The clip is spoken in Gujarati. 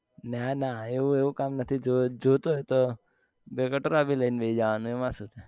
ના ના એવું એવું કામ નથી જો જોતો બે કટોરા બી લઈને બેહી જવાનું એમાં શું